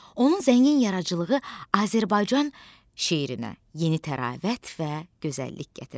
Onun zəngin yaradıcılığı Azərbaycan şeirinə yeni təravət və gözəllik gətirdi.